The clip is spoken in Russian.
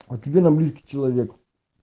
а тебе она близкий человек